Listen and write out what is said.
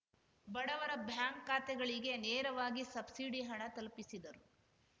ಬಡವರ ಬ್ಯಾಂಕ್ ಖಾತೆಗಳಿಗೆ ನೇರವಾಗಿ ಸಬ್ಸಿಡಿ ಹಣ ತಲುಪಿಸಿದರು